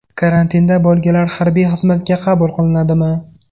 Karantinda bo‘lganlar harbiy xizmatga qabul qilinadimi?